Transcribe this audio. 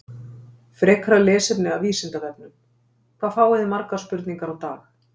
Frekara lesefni af Vísindavefnum: Hvað fáið þið margar spurningar á dag?